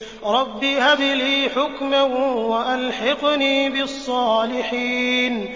رَبِّ هَبْ لِي حُكْمًا وَأَلْحِقْنِي بِالصَّالِحِينَ